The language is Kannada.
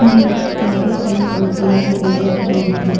ಬೀನ್ಸ ಕ್ಯಾರೆಟ್ ಅನ್ನು ಸಹಿತ ನೀವು ಗಮನಿಸಬಹುದು.